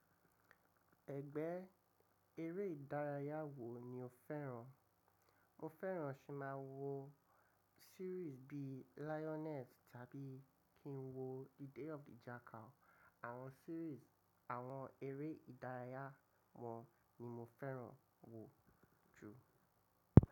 Ẹ̀gbẹ́ eré ìdárayá wo ni o fẹ́ràn? Mo fẹ́ràn kìn máa wo series bí i Lioness tàbí kí n wo The Day of the Jackal. Àwọn series àwọn eré ìdárayá wọ́n ni mo fẹ́ràn wò jù.